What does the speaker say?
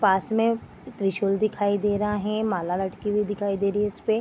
पास में त्रिशूल दिखाई दे रहा है माला लटकी हुई दिखाई दे रही है इसपे।